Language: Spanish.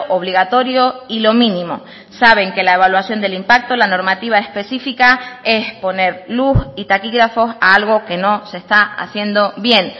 obligatorio y lo mínimo saben que la evaluación del impacto la normativa específica es poner luz y taquígrafos a algo que no se está haciendo bien